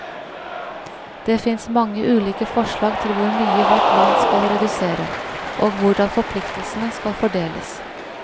Det finnes mange ulike forslag til hvor mye hvert land skal redusere, og hvordan forpliktelsene skal fordeles.